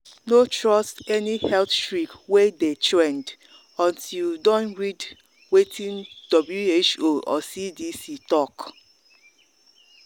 no trust any health trick wey dey trend until you don read wetin who or cdc talk